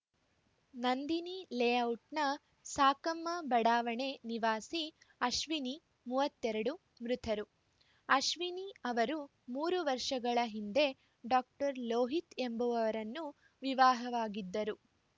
ನಂದಿನಿ ಲೇಔಟ್‌ನ ಸಾಕಮ್ಮ ಬಡಾವಣೆ ನಿವಾಸಿ ಅಶ್ವಿನಿ ಮೂವತ್ತೆರಡು ಮೃತರು ಅಶ್ವಿನಿ ಅವರು ಮೂರು ವರ್ಷಗಳ ಹಿಂದೆ ಡಾಕ್ಟರ್ ಲೋಹಿತ್‌ ಎಂಬುವರನ್ನು ವಿವಾಹವಾಗಿದ್ದರು